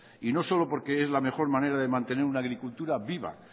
y no solo porque es la mejor manera de mantener una agricultura viva